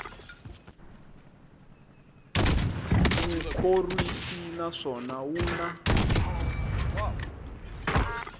wu khorwisi naswona wu na